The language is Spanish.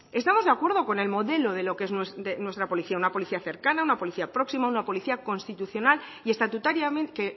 estamos de acuerdo con el modelo de lo que es nuestra policía una policía cercana una policía próxima una policía constitucional y estatutariamente